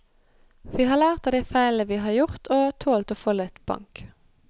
Vi har lært av de feilene vi har gjort og tålt å få litt bank.